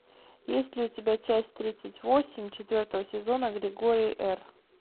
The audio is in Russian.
есть ли у тебя часть тридцать восемь четвертого сезона григорий р